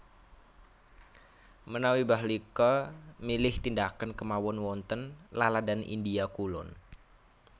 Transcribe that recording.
Menawi Bahlika milih tindakan kemawon wonten laladan India kulon